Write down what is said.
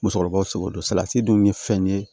Musokɔrɔbaw seko don salati dun ye fɛn ye